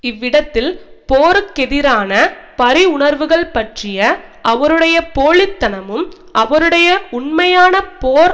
இவ்விடத்தில் போருக்கெதிரான பரிவுணர்வுகள் பற்றிய அவருடைய போலித்தனமும் அவருடைய உண்மையான போர்